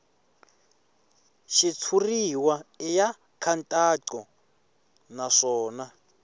xitshuriwa i ya nkhaqato naswona